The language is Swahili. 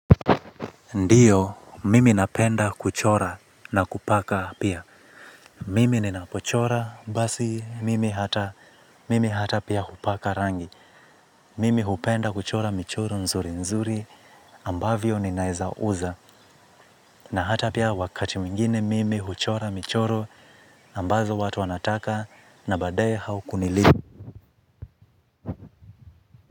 Ndiyo, mimi napenda kuchora na kupaka pia. Mimi ninapochora, basi mimi hata pia hupaka rangi. Mimi hupenda kuchora michoro nzuri nzuri ambavyo ninaeza uza. Na hata pia wakati mwingine mimi huchora michoro ambazo watu wanataka na baadaye haukunilipa.